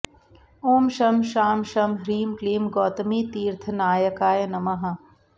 ॐ शं शां षं ह्रीं क्लीं गौतमीतीर्थनायकाय नमः